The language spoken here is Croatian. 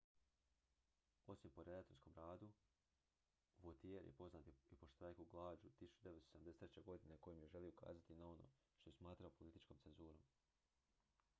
osim po redateljskom radu vautier je poznat i po štrajku glađu 1973. godine kojim je želio ukazati na ono što je smatrao političkom cenzurom